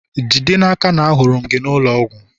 jide n'aka na ahụrụ m gị n'ụlọ ọgwụ!